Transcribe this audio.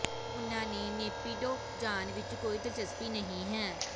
ਉਨ੍ਹਾਂ ਨੂੰ ਨੇਪਿਡੋ ਜਾਣ ਵਿੱਚ ਕੋਈ ਦਿਲਚਸਪੀ ਨਹੀਂ ਹੈ